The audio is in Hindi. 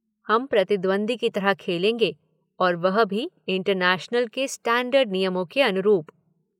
हम प्रतिद्वंद्वी की तरह खेलेंगे, और वह भी इंटरनैशनल के स्टैंडर्ड नियमों के अनुरूप।